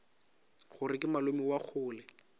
gore ke malome wa kgole